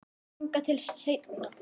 Þangað til seinna.